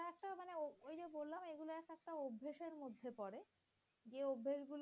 তে পড়ে। যে অভ্যাসগুলোতে